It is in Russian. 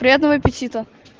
приятного аппетита